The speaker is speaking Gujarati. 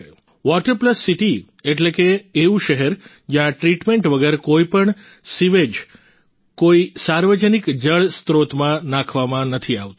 વોટર પ્લસ સીટી એટલે કે એવું શહેર જ્યાં ટ્રીટમેન્ટ વગર કોઈપણ સીવેજ કોઈ સાર્વજનિક જળ સ્ત્રોતમાં નાખવામાં નથી આવતું